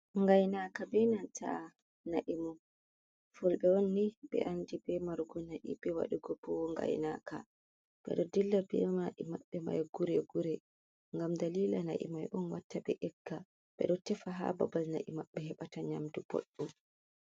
Gainaka be nanta na'i mum. FULBe onni be andi be marugu na'i, be wadugo bo gainaka. bedo dilla be mai maɓɓe mai gure-gure. Gam dalila na'i mai on watta be egga. Be do tefa ha babal na'i mabɓe heɓata nyamdu boɗɗum.